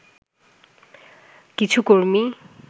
কিছু কর্মী